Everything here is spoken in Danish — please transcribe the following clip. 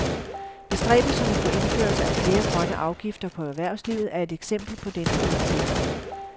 Bestræbelserne på indførelse af flere grønne afgifter på erhvervslivet er et eksempel på denne politik.